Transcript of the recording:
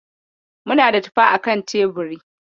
Muna da tufa akan teburi.